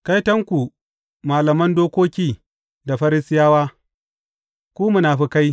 Kaitonku, malaman dokoki da Farisiyawa, ku munafukai!